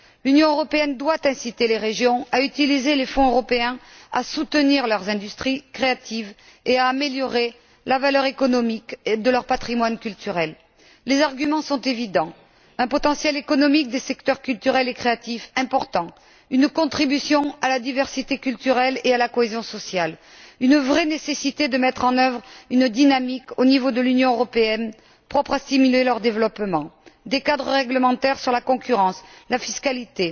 L'Union doit inciter les régions à utiliser les fonds européens à soutenir leurs industries créatives et à améliorer la valeur économique de leur patrimoine culturel. Les arguments sont évidents un potentiel économique des secteurs culturels et créatifs important, une contribution à la diversité culturelle et à la cohésion sociale, une vraie nécessité de mettre en œuvre une dynamique, au niveau de l'Union européenne, propre à stimuler leur développement, des cadres réglementaires sur la concurrence et la fiscalité,